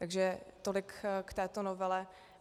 Takže tolik k této novele.